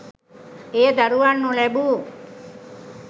එය දරුවන් නොලැබූ